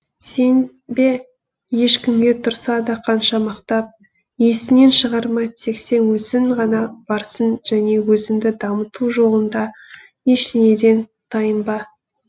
сенбе ешкімге тұрса да қанша мақтап есіңнен шығарма тек сен өзің ғана барсың және өзіңді дамыту жолында ештеңеден тайынба